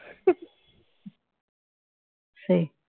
সেই